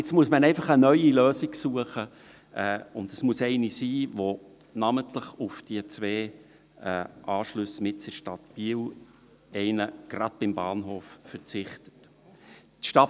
Nun muss man einfach eine Lösung suchen, und es muss eine sein, die namentlich auf die zwei Anschlüsse mitten in der Stadt Biel – einer davon gleich beim Bahnhof – verzichtet.